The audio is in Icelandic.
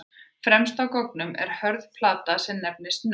Fremst á goggnum er hörð plata sem nefnist nögl.